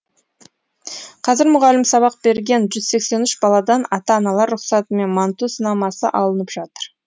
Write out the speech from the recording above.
қазір мұғалім сабақ берген жүз сексен үш баладан ата аналар рұқсатымен манту сынамасы алынып жатыр